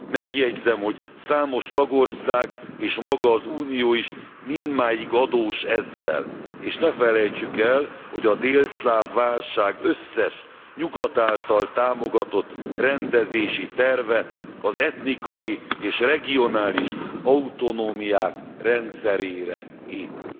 Megjegyzem, hogy számos tagország és maga az Unió is mindmáig adós ezzel, és ne felejtsük el, hogy a délszláv válság összes, Nyugat által támogatott rendezési terve az etnikai és regionális autonómiák rendszerére épül.